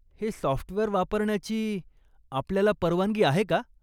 हे सॉफ्टवेअर वापरण्याची आपल्याला परवानगी आहे का?